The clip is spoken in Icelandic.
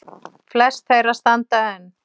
Flest þeirra standa enn.